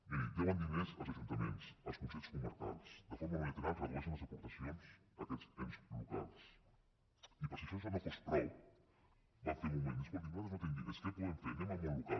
miri deuen diners als ajuntaments als consells comarcals de forma unilateral redueixen les aportacions a aquests ens locals i per si això no fos prou van fer en un moment escolti nosaltres no tenim diners què podem fer anem al món local